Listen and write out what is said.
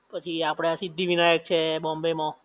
પછી આપડે સિદ્ધિવિનાયક છે બોમ્બે માં